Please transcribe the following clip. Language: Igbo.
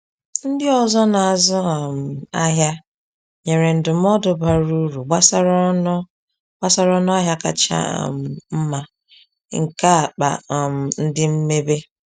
Ndị ọzọ na-azụ um ahịa nyere ndụmọdụ bara uru gbasara ọnụ gbasara ọnụ ahịa kacha um mma nke akpa um ndị mmebe.